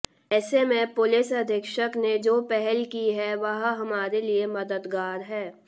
ऐसे में पुलिस अधीक्षक ने जो पहल की है वह हमारे लिए मददगार है